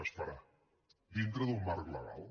es farà dintre d’un marc legal